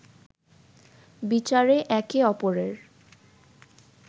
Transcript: বিচারে একে অপরের